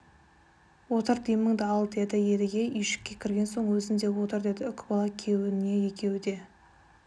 отыр деміңді ал деді едіге үйшікке кірген соң өзің де отыр деді үкібала күйеуіне екеуі де